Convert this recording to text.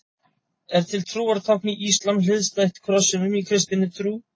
Er til trúartákn í íslam hliðstætt krossinum í kristinni trú?